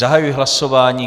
Zahajuji hlasování.